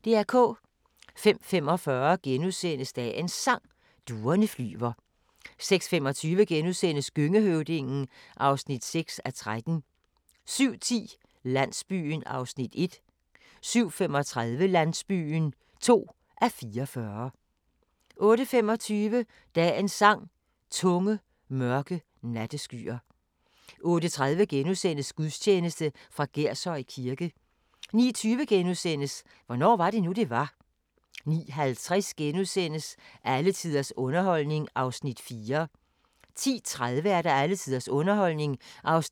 05:45: Dagens Sang: Duerne flyver * 06:25: Gøngehøvdingen (6:13)* 07:10: Landsbyen (1:44) 07:35: Landsbyen (2:44) 08:25: Dagens Sang: Tunge, mørke natteskyer 08:30: Gudstjeneste fra Gershøj Kirke * 09:20: Hvornår var det nu, det var? * 09:50: Alle tiders underholdning (4:8)* 10:30: Alle tiders underholdning (5:8)